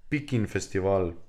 Pikin festival.